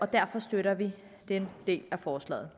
derfor støtter vi den del af forslaget